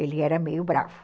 Ele era meio bravo.